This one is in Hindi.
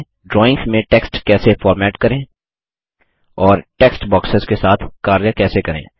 ड्राइंग्स में टेक्स्ट कैसे फॉर्मेट करें और टेक्स्ट बॉक्सेस के साथ कार्य कैसे करें